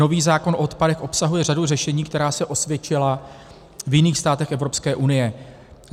Nový zákon o odpadech obsahuje řadu řešení, která se osvědčila v jiných státech Evropské unie.